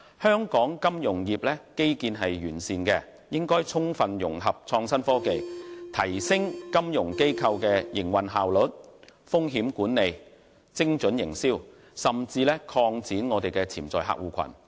香港金融業基建完善，應充分融合創新科技，提升金融機構的營運效率、風險管理、精準營銷，甚至擴展潛在客戶群。